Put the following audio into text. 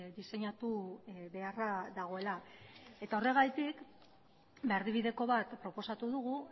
diseinatu beharra dagoela eta horregatik ba erdibideko bat proposatu dugu